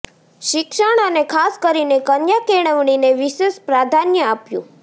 શિક્ષણ અને ખાસ કરીને કન્યા કેળવણીને વિશેષ પ્રાધાન્ય આપ્યું